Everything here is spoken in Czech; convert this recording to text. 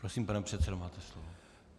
Prosím, pane předsedo, máte slovo.